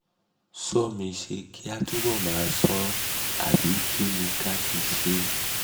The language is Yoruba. somisṣé kí a túbọ̀ máa ṣọ́ ọ àbí kí ni ká ti ṣe?